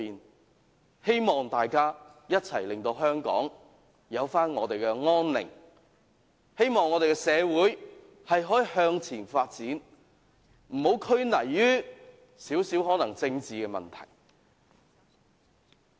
我也希望大家一起令香港回復安寧，希望我們的社會可以向前發展，不要拘泥於少許政治問題。